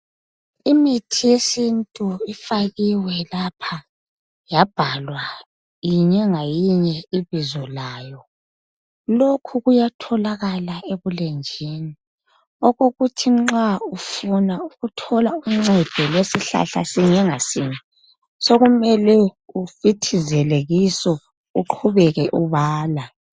imithi yesintu ifakiwe lapha yaphalwa minye ngaminye ibizo layo lokho kuyatholakala ebulenjini ukuba nxa ufuna uthola uncedo lwesihlahla sinye ngasinye sokumele ufithizele kiso ubale